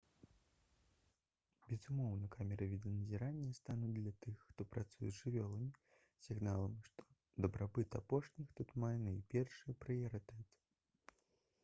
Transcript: «безумоўна камеры відэаназірання стануць для тых хто працуе з жывёламі сігналам што дабрабыт апошніх тут мае найпершы прыярытэт»